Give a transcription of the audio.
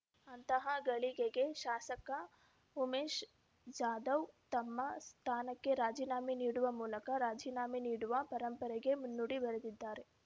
ಅಂತಹ ಗಳಿಗೆಗೆ ಶಾಸಕ ಉಮೇಶ್ ಜಾಧವ್ ತಮ್ಮ ಸ್ಥಾನಕ್ಕೆ ರಾಜೀನಾಮೆ ನೀಡುವ ಮೂಲಕ ರಾಜೀನಾಮೆ ನೀಡುವ ಪರಂಪರೆಗೆ ಮುನ್ನುಡಿ ಬರೆದಿದ್ದಾರೆ